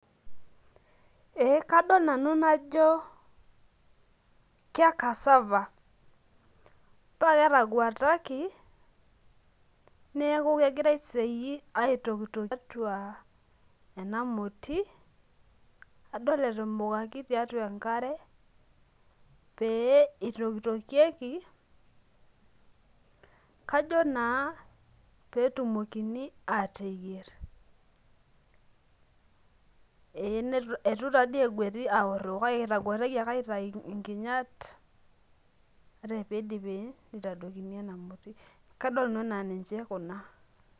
Ee kadol nanu najo ke cassava. Pa ketaguataki, neeku kegira aiseyie aitokitok tiatua enamoti, adol etumukaki tiatua enkare, pee itokitokieki, kajo naa petumokini ateyier. Eitu tadi egueti aor kake ketaguataki ake aitayu inkinyat, ore pidipi nitadokini ena moti. Kadol nanu enaa ninche kuna.